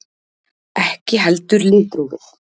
Ekki heldur litrófið.